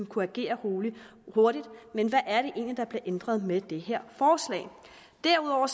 kunne agere hurtigt men hvad er det egentlig der bliver ændret med det her forslag derudover